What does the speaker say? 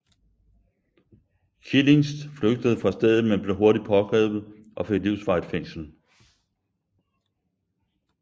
Kilinc flygtede fra stedet men blev hurtigt pågrebet og fik livsvarigt fængsel